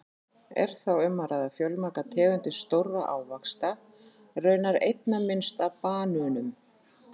Er þá um að ræða fjölmargar tegundir stórra ávaxta, raunar einna minnst af banönum!